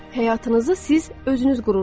Həyatınızı siz özünüz qurursuz.